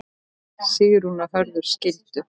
Sigrún og Hörður skildu.